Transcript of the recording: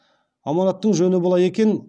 аманаттың жөні былай екен